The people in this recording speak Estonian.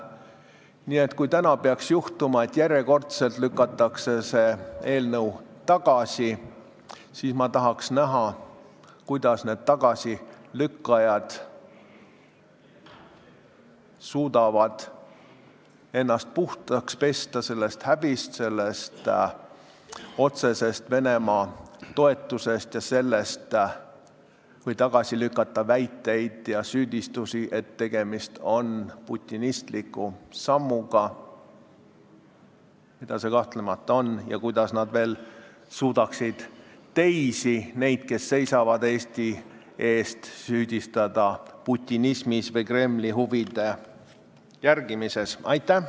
Nii et kui täna peaks juhtuma, et järjekordselt lükatakse see eelnõu tagasi, siis ma tahaks näha, kuidas need tagasilükkajad suudavad ennast puhtaks pesta sellest häbist, sellest otsesest Venemaa toetamisest, ja kuidas nad suudavad tagasi lükata väiteid ja süüdistusi, et tegemist on putinistliku sammuga, mida see kahtlemata on, ja kuidas nad veel saavad sel juhul teisi – neid, kes seisavad Eesti eest – süüdistada putinismis või Kremli huvide arvestamises.